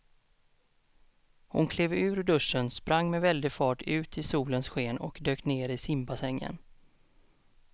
Hon klev ur duschen, sprang med väldig fart ut i solens sken och dök ner i simbassängen.